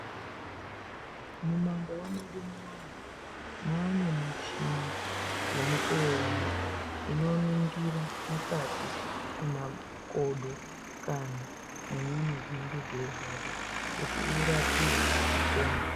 Mumandau medu munomu maane muchini yemukuwo uno inoningira mukati mwemakodo kana mwenyama dzinenge dzeirwadza kuti urapiwe upone.